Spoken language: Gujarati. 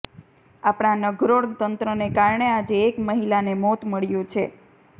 આપણા નઘરોળ તંત્રને કારણે આજે એક મહિલાને મોત મળ્યું છે